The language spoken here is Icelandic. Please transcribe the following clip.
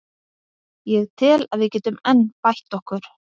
Ég tel að við getum enn bætt okkur.